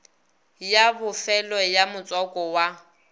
ya bofelo ya motswako wa